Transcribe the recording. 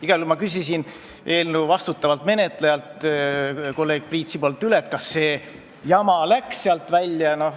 Igal juhul küsisin ma eelnõu vastutavalt menetlejalt kolleeg Priit Sibulalt üle, kas see jama läks sealt välja.